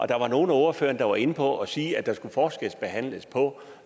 der var nogle af ordførerne der var inde på at sige at der skulle forskelsbehandles på